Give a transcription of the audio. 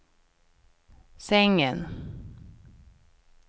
sängen